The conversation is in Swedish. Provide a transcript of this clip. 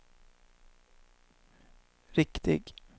riktig